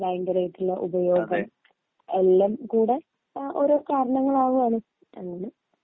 ഭയങ്കരായിട്ടുള്ള ഉപയോഗം എല്ലാം കൂടെ ഓരോ കാരണങ്ങളാവാണ് അങ്ങനെ